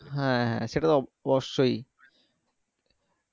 হ্যাঁ হ্যাঁ সেটা অবশ্যই